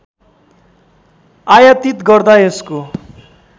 आयातीत गर्दा यसको